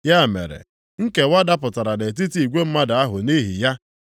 Ya mere nkewa dapụtara nʼetiti igwe mmadụ ahụ nʼihi ya.